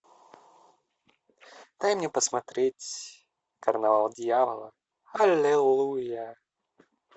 дай мне посмотреть карнавал дьявола аллилуйя